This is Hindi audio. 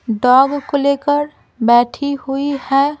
डॉग को लेकर बैठी हुई है ।